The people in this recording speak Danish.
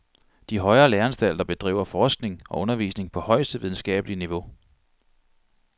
De højere læreanstalter bedriver forskning og undervisning på højeste videnskabelige niveau.